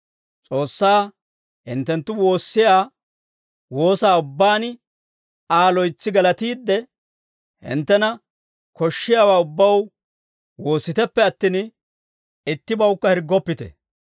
S'oossaa hinttenttu woossiyaa woosaa ubbaan Aa loytsi galatiidde, hinttena koshshiyaawaa ubbaw woossiteppe attin, ittibawukka hirggoppite.